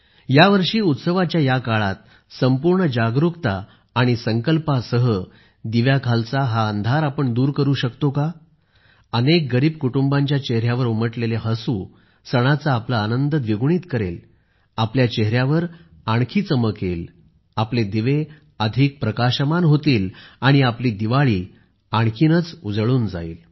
यावर्षी उत्सवाच्या या काळात संपूर्ण जागरुकता आणि संकल्पासह दिव्याखालचा हा अंधार आपण दूर करू शकतो का अनेक गरीब कुटुंबांच्या चेहर्यावर उमटलेले हसू सणाचा आपला आनंद द्विगुणित करेल आपल्या चेहऱ्यावर आणखी चमक येईल आपले दिवे अधिक प्रकाशमान होतील आणि आपली दिवाळी आणखीनच उजळून जाईल